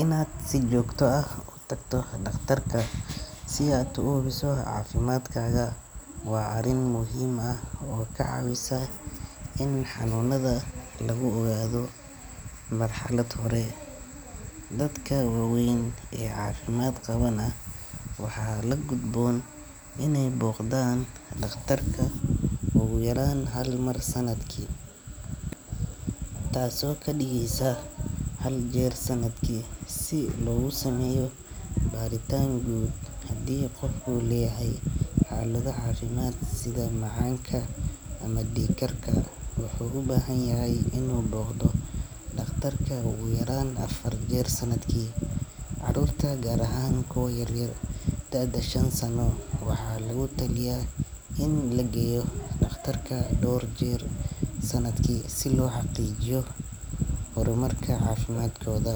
Inaad si joogto ah u tagto dhakhtarka si aad u hubiso caafimaadkaaga waa arrin muhiim ah oo ka caawisa in xanuunada lagu ogaado marxalad hore. Dadka waaweyn ee caafimaad qabana waxaa la gudboon inay booqdaan dhakhtarka ugu yaraan hal mar sanadkii, taasoo ka dhigeysa hal jeer sannadkii si loogu sameeyo baaritaan guud. Haddii qofku leeyahay xaalado caafimaad sida macaanka ama dhiig karka, wuxuu u baahan yahay inuu booqdo dhakhtarka ugu yaraan afar jeer sanadkii. Carruurta, gaar ahaan kuwa ka yar da'da shan sano, waxaa lagu taliyaa in la geeyo dhakhtarka dhowr jeer sanadkii si loo xaqiijiyo horumarka caafimaadkooda.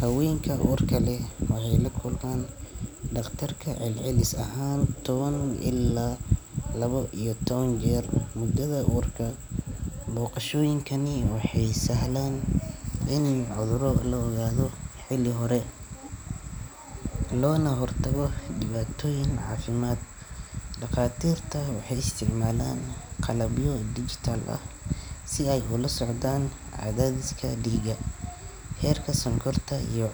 Haweenka uurka leh waxay la kulmaan dhakhtarka celcelis ahaan toban ilaa laba iyo toban jeer muddada uurka. Booqashooyinkani waxay sahlaan in cudurro la ogaado xilli hore, loona hortago dhibaatooyin caafimaad. Dhakhaatiirta waxay isticmaalaan qalabyo digital ah si ay ula socdaan cadaadiska dhiigga, heerka sonkorta iyo.